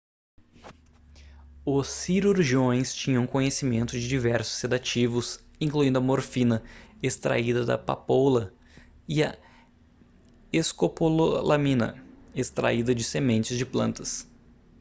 os cirurgiões tinham conhecimento de diversos sedativos incluindo a morfina extraída da papoula e a escopolamina extraída de sementes de plantas